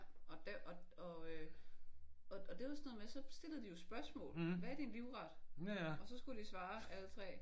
Ja og der og øh og og det var sådan noget med så stillede de jo spørgsmål. Hvad er din livret? Og så skulle de svare alle 3